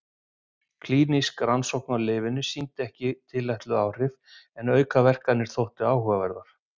Klínísk rannsókn á lyfinu sýndi ekki tilætluð áhrif en aukaverkanirnar þóttu áhugaverðar.